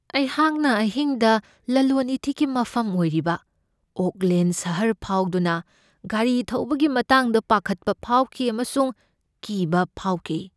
ꯑꯩꯍꯥꯛꯅ ꯑꯍꯤꯡꯗ ꯂꯂꯣꯟ ꯏꯇꯤꯛꯀꯤ ꯃꯐꯝ ꯑꯣꯏꯔꯤꯕ ꯑꯣꯛꯂꯦꯟ ꯁꯍꯔ ꯐꯥꯎꯗꯨꯅ ꯒꯥꯔꯤ ꯊꯧꯕꯒꯤ ꯃꯇꯥꯡꯗ ꯄꯥꯈꯠꯄ ꯐꯥꯎꯈꯤ ꯑꯃꯁꯨꯡ ꯀꯤꯕ ꯐꯥꯎꯈꯤ꯫